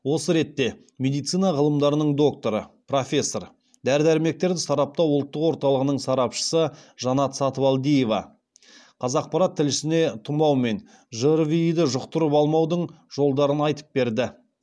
осы ретте медицина ғылымдарының докторы профессор дәрі дәрмектерді сараптау ұлттық орталығының сарапшысы жанат сатыбалдиева қазақпарат тілшісіне тұмау мен жрви ді жұқтырып алмаудың жолдарын айтып берді